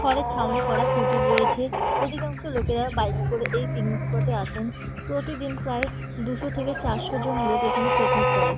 ঘরের ছাউনি করা কুটির রয়েছে। অধিকাংশ লোকেরা বাইক করে এই পিকনিক স্পর্ট -এ আসেন। প্রতিদিন প্রায় দুইশ থেকে চারশো জন লোক এখানে পিকনিক করে।